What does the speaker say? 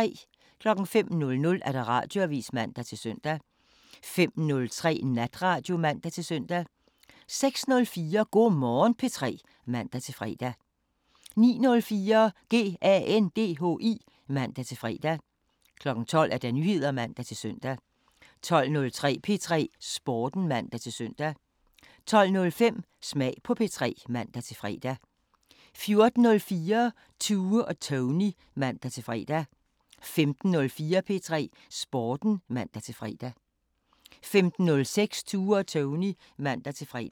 05:00: Radioavisen (man-søn) 05:03: Natradio (man-søn) 06:04: Go' Morgen P3 (man-fre) 09:04: GANDHI (man-fre) 12:00: Nyheder (man-søn) 12:03: P3 Sporten (man-søn) 12:05: Smag på P3 (man-fre) 14:04: Tue og Tony (man-fre) 15:04: P3 Sporten (man-fre) 15:06: Tue og Tony (man-fre)